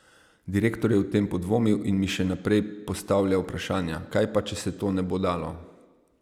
Direktor je o tem podvomil in mi še naprej postavljal vprašanja, kaj pa, če se to ne bo dalo.